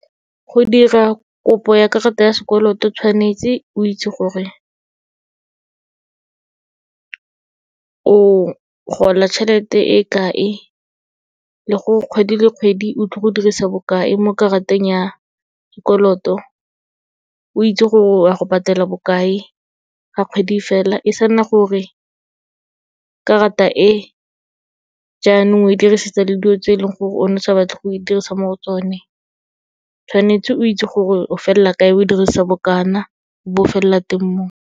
Go dira kopo ya karata ya sekoloto tshwanetse o itse gore, o gola tšhelete e kae le gore kgwedi le kgwedi o tlo go dirisa bokae mo karateng ya dikoloto. O itse gore o a go patela bokae ga kgwedi e fela, e sa nna gore karata e, jaanong o e dirisetsa le dilo tse e leng gore o ne o sa batle go e dirisa mo go tsone. Tshwanetse o itse gore o felela kae, o dirisa bokana, o bo o felela teng moo.